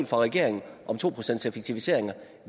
fra regeringen om to procent effektiviseringer